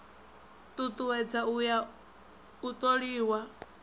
tutuwedza u ya u toliwa